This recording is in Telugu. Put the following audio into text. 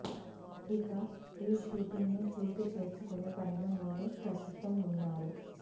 ఇక ఈ షూటింగ్ ని పూర్తి చేసుకునే పనిలో వీరు ప్రస్తుతం వున్నారు